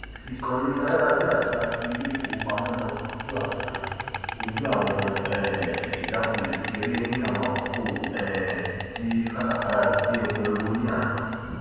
ìkànnì ayárabíàṣá ti ilé ìfowópamọ náà kojú àwọn kojú àwọn um ìjákulẹ kékeré ní àwọn àkókò um tí kátàkárà ti dé ògóngó ní àná